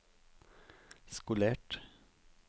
skolert